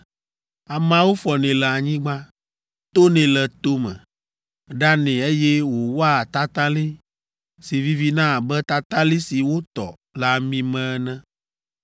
Ameawo fɔnɛ le anyigba, tonɛ le to me, ɖanɛ eye wòwɔa tatalĩ si vivina abe tatalĩ si wotɔ le ami me ene.